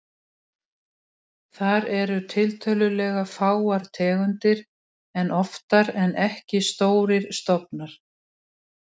Þar eru tiltölulega fáar tegundir en oftar en ekki stórir stofnar.